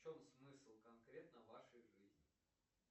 в чем смысл конкретно вашей жизни